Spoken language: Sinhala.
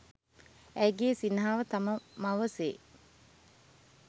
ඇයගේ සිනහව තම මව සේ